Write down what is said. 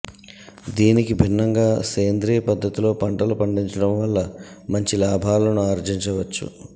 దీనికి భిన్నంగా సేంద్రియ పద్ధతిలో పంటలు పండించడం వల్ల మంచి లాభాలను ఆర్జించవచ్చు